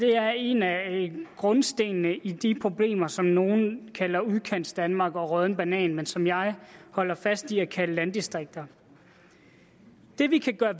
er en af grundstenene i de problemer som nogen kalder udkantsdanmark og den rådne banan men som jeg holder fast i at kalde landdistrikter det vi kan gøre